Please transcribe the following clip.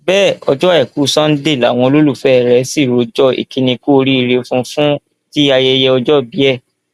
bẹẹ ọjọ àìkú sanńdé làwọn olólùfẹ rẹ sì rọjò ìkíni kù oríire fún un fún ti ayẹyẹ ọjọòbí ẹ